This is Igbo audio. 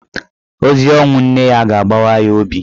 Ozi ọnwụ nwanne ya ga-agbawa ya obi.